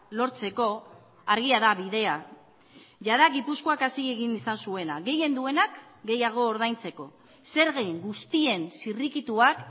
lortzeko argia da bidea jada gipuzkoak hasi egin izan zuena gehien duenak gehiago ordaintzeko zergen guztien zirrikituak